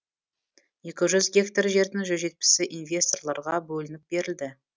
екі жүз гектар жердің жүз жетпісі инвесторларға бөлініп берілді